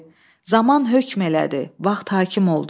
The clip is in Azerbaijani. Zaman hökm elədi, vaxt hakim oldu.